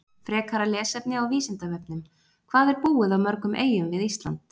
Frekara lesefni á Vísindavefnum: Hvað er búið á mörgum eyjum við Ísland?